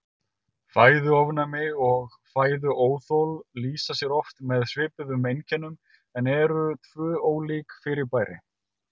Fæðuofnæmi og fæðuóþol lýsa sér oft með svipuðum einkennum en eru tvö ólík fyrirbæri.